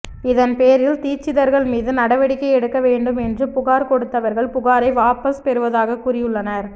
இதன் பேரில் தீட்சிதர்கள் மீது நடவடிக்கை எடுக்க வேண்டும் என்று புகார் கொடுத்தவர்கள் புகாரை வாபஸ் பெறுவதாக கூறியுள்ளனர்